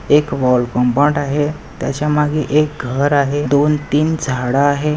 एक wall compound आहे त्याच्या मागे एक घर आहे. दोन-तीन झाड आहे.